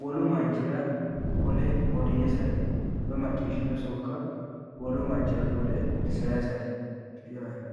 wolu manchira qole odeessate woyi macciishshino sokka wolu manchira qole sayiisate yaate.